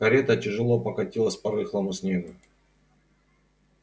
карета тяжело покатилась по рыхлому снегу